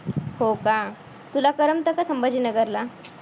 हो का. तुला करमतं का संभाजीनगरला.